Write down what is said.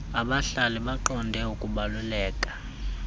abahlali baqonde ukubaluleka